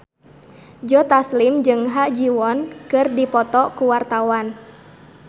Joe Taslim jeung Ha Ji Won keur dipoto ku wartawan